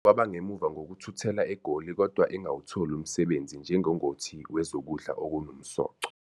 Kwaba ngemuva ngokuthuthela eGoli kodwa engawutholi umsebenzi njengongoti wezokudla okunomsoco.